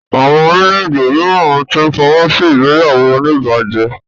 Àwọn orílè-èdè míràn tí n fọwọsi ìgbéyàwó onibaje.